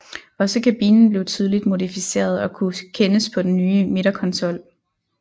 Også kabinen blev tydeligt modificeret og kunne kendes på den nye midterkonsol